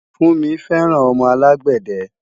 Funmi fẹ́ràn ọmọ alágbàdẹ